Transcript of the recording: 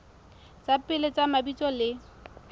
tsa pele tsa mabitso le